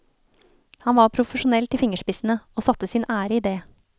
Han var profesjonell til fingerspissene, og satte sin ære i det.